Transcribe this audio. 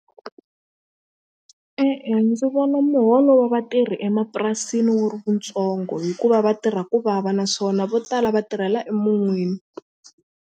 E-e ndzi vona muholo wa vatirhi emapurasini wu ri wutsongo hikuva vatirha ku vava naswona vo tala va tirhela emun'wini.